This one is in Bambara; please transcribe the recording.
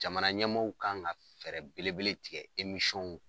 Jamana ɲɛmɔɔw kan ka fɛɛrɛ belebele tigɛ